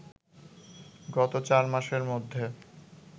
গত চারমাসের মধ্যে